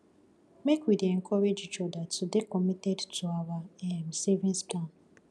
make we dey encourage each other to dey committed to our um savings plan